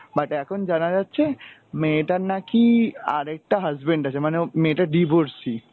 but এখন জানা যাচ্ছে মেয়েটার নাকি আরেকটা husband আছে মানে ও মেয়েটা divorcee.